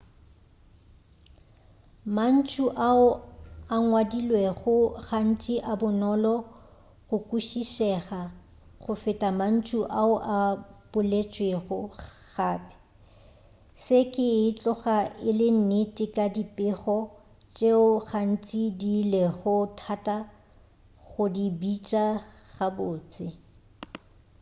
mantšu ao a ngwadilwego gantši a bonolo go kwešišega go feta mantšu ao a boletšwego gape se ke e tloga e le nnete ka dipego tšeo gantši di lego thata go di bitša gabotse